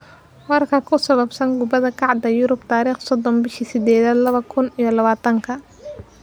Warar ku saabsan kubadda cagta Yurub tarikh sodon bishi sidedad lawadhi kun iyo lawatanka: Messi, Guardiola, Rodriguez, Aurier, Ndombele, Holding.